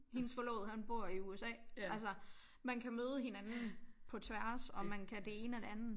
Hendes forlovede han bor i USA altså man kan møde hinanden på tværs og man kan det ene og det andet